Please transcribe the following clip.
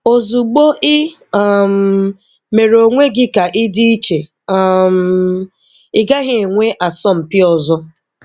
Ozugbo I um mere onwe gị ka ị dị iche, um ị gaghị enwe asọmpi ọzọ.